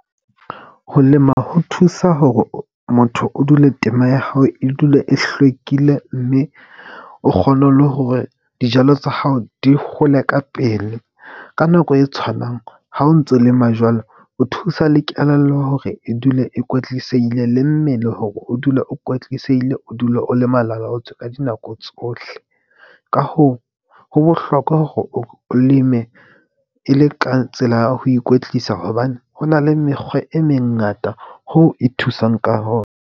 Ho lema ho thusa hore motho o dule tema ya hao e dule e hlwekile mme o kgone le hore dijalo tsa hao di hole ka pele ka nako e tshwanang. Ha o ntso lema jwalo, o thusa le kelello hore e dule e kwetlisehile le mmele hore o dule o kwetlisehile, o dule o le malalaotswe ka dinako tsohle. Ka hoo, ho bohlokwa hore o leme e le ka tsela ya ho ikwetlisa hobane ho na le mekgwa e mengata hoo e thusang ka .